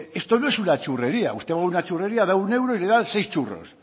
esto no es una churrería usted va a una churrería da un euro y le dan seis churros